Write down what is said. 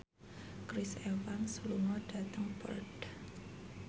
Chris Evans lunga dhateng Perth